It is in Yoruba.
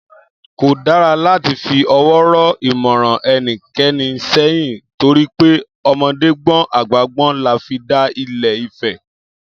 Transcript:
Kò dára láti fi ọwọ́ rọ́ ìmọ̀ràn ẹnikẹni sẹ́yìn torí pé ọmọdé gbọ́n àgbà gbọ́n là fi dá Ile-Ifẹ̀